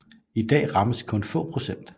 I dag rammes kun få procent